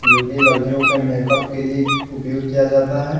जो की लड़कियों के मेकअप के लिए उपयोग किया जाता है।